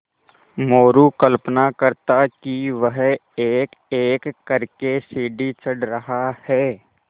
मोरू कल्पना करता कि वह एकएक कर के सीढ़ी चढ़ रहा है